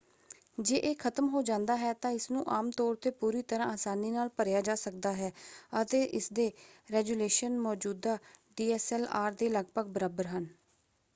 ਜੇ ਇਹ ਖਤਮ ਹੋ ਜਾਂਦਾ ਹੈ ਤਾਂ ਇਸਨੂੰ ਆਮ ਤੌਰ 'ਤੇ ਪੂਰੀ ਤਰ੍ਹਾਂ ਆਸਾਨੀ ਨਾਲ ਭਰਿਆ ਜਾ ਸਕਦਾ ਹੈ ਅਤੇ ਇਸਦੇ ਰੈਜ਼ੋਲੇਸ਼ਨ ਮੌਜੂਦਾ ਡੀਐਸਐਲਆਰ ਦੇ ਲਗਭਗ ਬਰਾਬਰ ਹਨ।